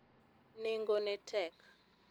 nengo ne tek